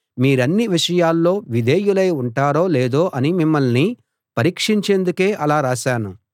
మీరన్ని విషయాల్లో విధేయులై ఉంటారో లేదో అని మిమ్మల్ని పరీక్షించేందుకే అలా రాశాను